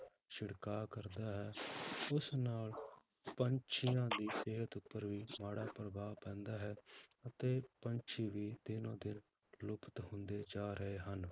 ਛਿੜਕਾਅ ਕਰਦਾ ਹੈ ਉਸ ਨਾਲ ਪੰਛੀਆਂ ਦੀ ਸਿਹਤ ਉੱਪਰ ਵੀ ਮਾੜਾ ਪ੍ਰਭਾਵ ਪੈਂਦਾ ਹੈ ਤੇ ਪੰਛੀ ਵੀ ਦਿਨੋ ਦਿਨ ਲੁਪਤ ਹੁੰਦੇ ਜਾ ਰਹੇ ਹਨ।